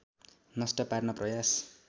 नष्ट पार्न प्रयास